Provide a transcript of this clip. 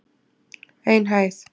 Ein hæð.